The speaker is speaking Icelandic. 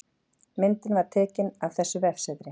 Myndin er tekin af þessu vefsetri